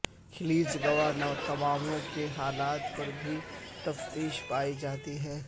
خلیچ Guantanamo کے حالات پر بھی تشیویش پائی جاتی ہے